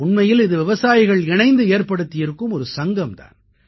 உண்மையில் இது விவசாயிகள் இணைந்து ஏற்படுத்தி இருக்கும் ஒரு சங்கம் தான்